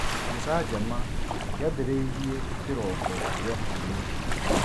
Gĩcanjama kĩambĩrĩirie kĩroko gĩa kiumia